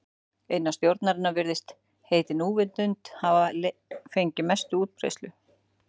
Innan stjórnunar virðist heitið núvitund hafa fengið mesta útbreiðslu.